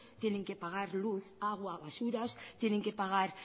tienen que pagar luz agua basuras tienen que pagar